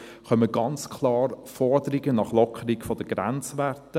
Es kommen ganz klar Forderungen nach einer Lockerung der Grenzwerte;